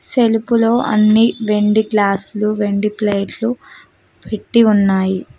సెల్పు లో అన్ని వెండి గ్లాసు లు వెండి ప్లేట్లు పెట్టి ఉన్నాయి.